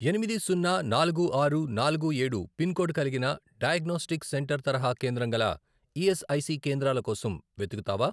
ఎనిమిది, సున్నా, నాలుగు, ఆరు, నాలుగు, ఏడు, పిన్ కోడ్ కలిగిన డయాగ్నోస్టిక్ సెంటర్ తరహా కేంద్రం గల ఈఎస్ఐసి కేంద్రాల కోసం వెతుకుతావా?